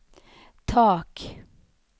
tak